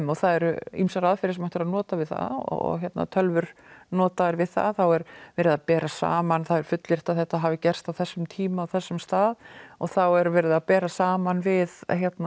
og það eru ýmsar aðferðir sem hægt er að nota við það og tölvur notaðar við það þá er verið að bera saman það er fullyrt að þetta hafi gerst á þessum ákveðna tíma á þessum stað og þá er verið að bera saman við